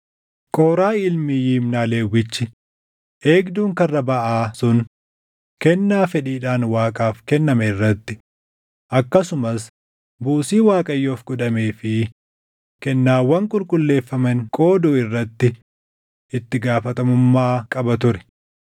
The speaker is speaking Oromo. Qooraahi ilmi Yimnaa Lewwichi, eegduun Karra Baʼaa sun kennaa fedhiidhaan Waaqaaf kenname irratti, akkasumas buusii Waaqayyoof godhamee fi kennaawwan qulqulleeffaman qooduu irratti itti gaafatamummaa qaba ture.